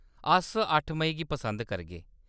अस अट्ठ मेई गी पसंद करगे।